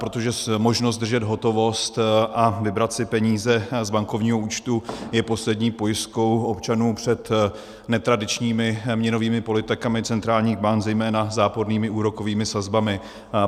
Protože možnost držet hotovost a vybrat si peníze z bankovního účtu je poslední pojistkou občanů před netradičními měnovými politikami centrálních bank, zejména zápornými úrokovými sazbami.